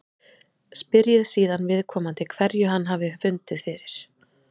Spyrjið síðan viðkomandi hverju hann hafi fundið fyrir.